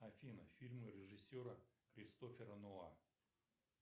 афина фильмы режиссера кристофера нолана